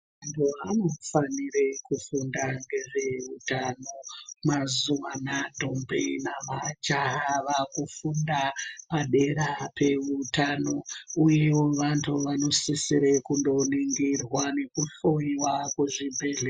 Vantu vanofanire kufunda ngezve utano. Mazuva ano ana tombi namajaha, vava kufunda padera pehutano uyewo vantu vanosisirwe kundoningirwa nokuhloyiwa kuzvibhedhlera.